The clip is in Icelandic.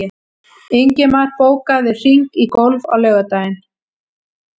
Ingimar, bókaðu hring í golf á laugardaginn.